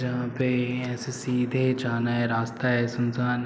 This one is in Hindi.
यहाँ पे ये ऐसे सीधे जाना हैं रास्ता हैं सुनसान हैं।